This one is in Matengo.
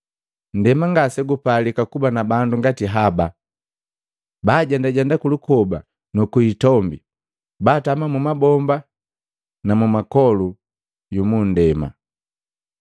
Nndema ngase gupalika kuba na bandu ngati haba! Bajendajenda kulukoba nu ku hitombi, batama mu mabomba na mu ipoli yu mu nndema.